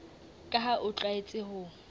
ka ha o tlwaetse ho